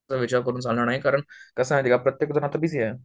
Uncear करून चालणार नाही कारण कसय माहितीये का प्रत्येक जन आता बिझी आहे